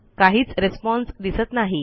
काहीच रिस्पॉन्स दिसत नाही